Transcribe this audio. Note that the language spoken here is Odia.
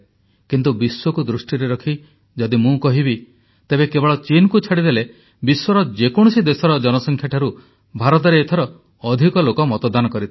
କିନ୍ତୁ ବିଶ୍ୱକୁ ଦୃଷ୍ଟିରେ ରଖି ଯଦି ମୁଁ କହିବି ତେବେ କେବଳ ଚୀନକୁ ଛାଡ଼ିଦେଲେ ବିଶ୍ୱର ଯେକୌଣସି ଦେଶର ଜନସଂଖ୍ୟାଠାରୁ ଭାରତରେ ଏଥର ଅଧିକ ଲୋକ ମତଦାନ କରିଥିଲେ